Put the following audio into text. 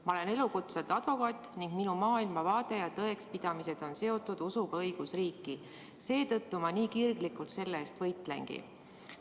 Ma olen elukutselt advokaat ning minu maailmavaade ja tõekspidamised on seotud usuga õigusriiki, seetõttu ma nii kirglikult selle eest võitlengi.